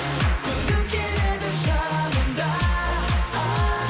көргім келеді жанымда ааа